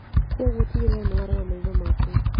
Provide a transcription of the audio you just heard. Kwoguo tigĩrĩra nĩ warora maitho maku